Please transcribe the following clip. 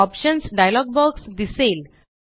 options dialog box दिसेल